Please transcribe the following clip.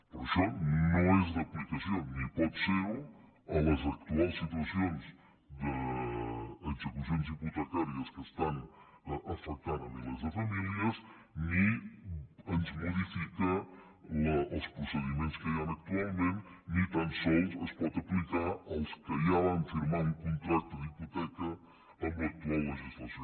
però això no és d’aplicació ni pot ser ho a les actuals situacions d’execucions hipotecàries que estan afectant milers de famílies ni ens modifica els procediments que hi han actualment ni tan sols es pot aplicar als que ja van firmar un contracte d’hipoteca amb l’actual legislació